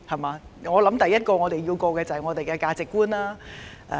我認為，第一個關口是價值觀。